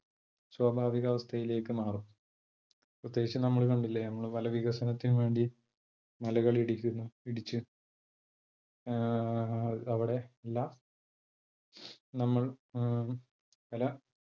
സ്വാഭാവികാവസ്ഥയിലേക്ക് മാറും. പ്രത്യേകിച്ചു നമ്മൾ കണ്ടില്ലേ നമ്മൾ പല വികസനത്തിന് വേണ്ടിയും മലകൾ ഇടിക്കുന്നു ഇടിച്ച് ആഹ് അവിടെയുള്ള നമ്മൾ അഹ് പല